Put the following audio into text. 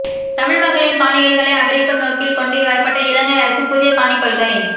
தமிழ்மக்களின் காணிகளை அபகரிக்கும் நோக்கில் கொண்டு வரப்பட்ட இலங்கை அரசின் புதிய காணிக் கொள்கை